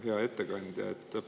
Hea ettekandja!